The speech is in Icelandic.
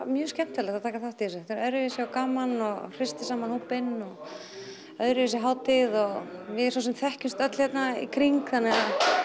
mjög skemmtilegt að taka þátt í þessu þetta er öðruvísi og gaman og hristir saman hópinn og öðruvísi hátíð og við svo sem þekkjumst öll hérna í kring þannig að